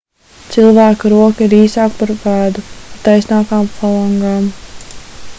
cilvēka roka ir īsāka par pēdu ar taisnākām falangām